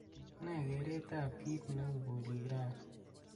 ne kereet ab kiit neu bolik rani